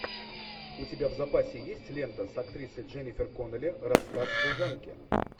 у тебя в запасе есть лента с актрисой дженифер коннелли рассказ служанки